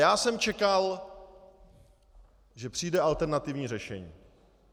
Já jsem čekal, že přijde alternativní řešení.